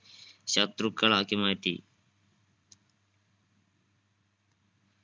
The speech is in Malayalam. ശത്രുക്കളാക്കി മാറ്റി